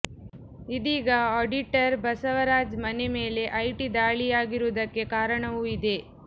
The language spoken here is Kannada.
ಇದೀಗ ಆಡಿಟರ್ ಬಸವರಾಜ್ ಮನೆ ಮೇಲೆ ಐಟಿ ದಾಳಿಯಾಗಿರುವುದಕ್ಕೆ ಕಾರಣವೂ ಇದೆ